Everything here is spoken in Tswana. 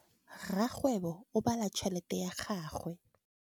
Rakgwêbô o bala tšheletê ya gagwe.